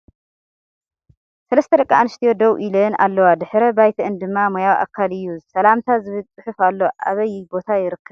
ሰለስተ ደቂ ኣንስትዮ ደው ኢለን ኣለዋ ድሕረ ባይትአን ድማ ማያዊ ኣካል እዩ ። ሰላምታ ዝብል ፅሑፍ ኣሎ ። ኣብይ ቦታ ይርከብ